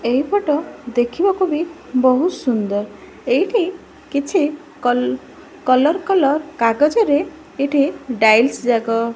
ଏହି ଫୋଟୋ ଦେଖିବାକୁ ବି ବହୁତ୍ ସୁନ୍ଦର୍ ଏଇଠି କିଛି କଲର୍ କଲର୍ କାଗଜରେ ଏଠି ଡାଇସ୍ ଯାକ --